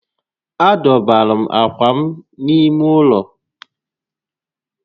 A dọbara m ákwà m n'ime ụlọ